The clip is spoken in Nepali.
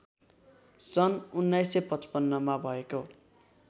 सन् १९५५ मा भएको